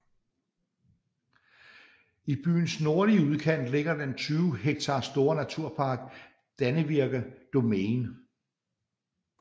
I byens nordlige udkant ligger den 20 hektar store naturpark Dannevirke Domain